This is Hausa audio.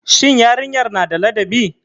Shin yarinyar na da ladabi.